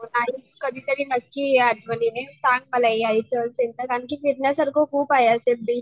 कधीतरी नक्की ये आठवणीने सांग मला यायचं असेल तर कारण की फिरण्यासारखं खूप आहे असं बीच